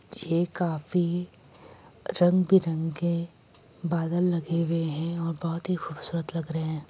ये खाफी रंग बिरंगे बादल लगे हुए हैं और बहुत ही खूबसूरत लग रहे हैं।